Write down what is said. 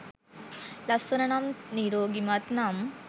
ලස්සන නම්, නිරෝගිමත් නම්